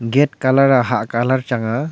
gate colour hat colour chang aa.